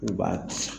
U b'a